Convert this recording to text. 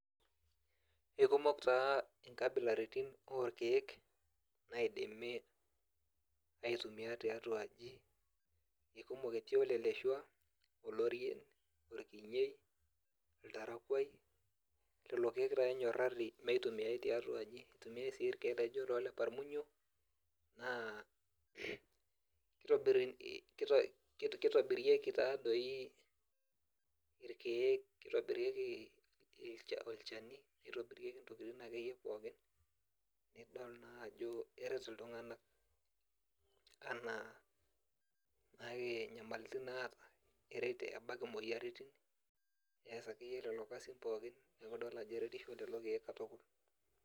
Ekumok taa nkabilaritin orkeek naidimi aitumia tiatua aji, ekumok etii oleleshua, olorien, orkinyei, oltarakuai. Lelo taa enyorrarri meitumiai tiatua aji, itumiai si irkeek laijo lo leparmunyo, naa kitobirieki tadoi irkeek kitobirieki olchani, nitobirieki akeyie intokiting pookin, nidol najo eret iltung'anak. Anaa nake nyamalitin naata, eret ebak imoyiaritin, nees akeyie lelo kasin pookin, neku idol ajo eretisho lelo keek katukul.